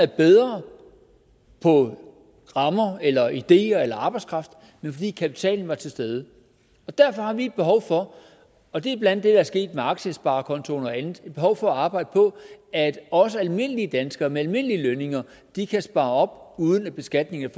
bedre på rammer eller ideer eller arbejdskraft men fordi kapitalen var til stede der derfor har vi et behov for og det er blandt det er sket med aktiesparekontoen og andet at arbejde på at også almindelige danskere med almindelige lønninger kan spare op uden at beskatningen